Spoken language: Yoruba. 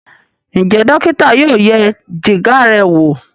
Njé dókítà yóò yẹ Jìgá rẹ wọ?